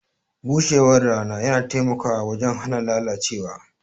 Bushewar rana yana taimakawa wajen hana lalacewa.